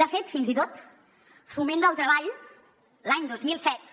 de fet fins i tot foment del treball l’any dos mil set